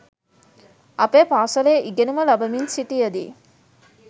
අපේ පාසලේ ඉගෙනුම ලබමින් සිටියදී